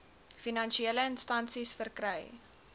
finansiële instansies verkry